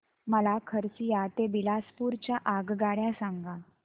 मला खरसिया ते बिलासपुर च्या आगगाड्या सांगा